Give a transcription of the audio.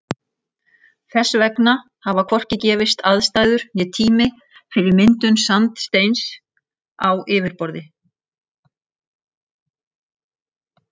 Þess vegna hafa hvorki gefist aðstæður né tími fyrir myndun sandsteins á yfirborði.